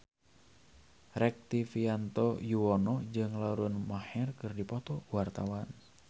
Rektivianto Yoewono jeung Lauren Maher keur dipoto ku wartawan